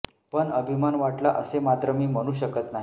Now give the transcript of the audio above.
पण अभिमान वाटला असे मात्र मी म्हणु शकत नाही